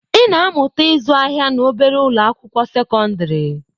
Ị na-amụta ịzụ ahịa na obere ụlọ akwụkwọ sekọndrị.